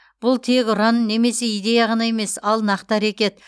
бұл тек ұран немесе идея ғана емес ал нақты әрекет